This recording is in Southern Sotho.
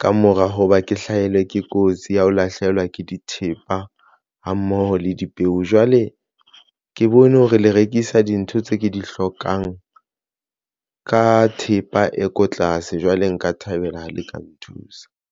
ka mora hoba ke hlahelwe ke kotsi ya ho lahlehelwa ke dithepa hammoho le dipeo, jwale ke bone hore le rekisa dintho tse ke di hlokang ka thepa e ko tlase jwale nka thabela ha le ka nthusa.